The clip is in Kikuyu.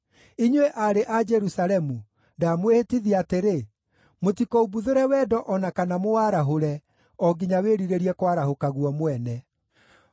Inyuĩ aarĩ a Jerusalemu, ndamwĩhĩtithia atĩrĩ: Mũtikoimbuthũre wendo o na kana mũwarahũre, o nginya wĩrirĩrie kwarahũka guo mwene.